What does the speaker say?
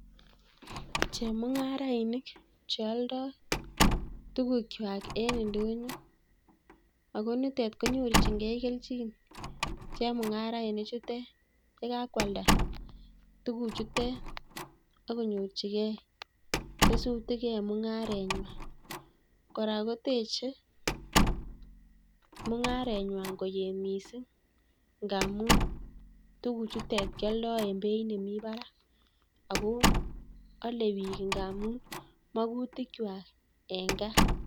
Chemung'arainik chealdai tuguk kwai eng' ndonyo ako nitet konyorchingei kelchin chemung'arainik chutek yekakwalda tuguchutek akonyorchigei tesutik e mung'aretnyi. kora koteche mung'aretng'wai koye miising' ngaamu tuguchutek kialdai ing' beit nemi barak akoale biik ngamu magutik kwai eng' gaa